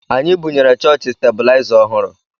Anyị bunyere chọọchị stebilaịza ọhụrụ